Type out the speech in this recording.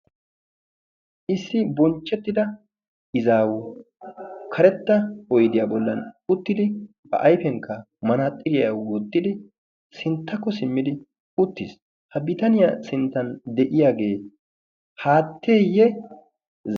issi bonchchettida izaawu karetta oydiyaa bollan uttidi ba ayfiyankka manaaxiriyaa wottidi sinttakko simmidi uttiis ha bitaniyaa sinttan de'iyaagee haatteeyye?